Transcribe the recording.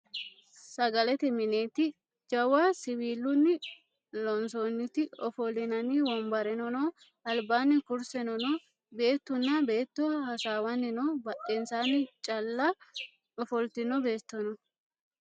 sagalete minetti. jawwa siwilunni loonisonniti offolinanni wonibbare noo alibbani kuriseno noo beettuna beetto hasawwani noo. Badhesanni calla offolitino beetto no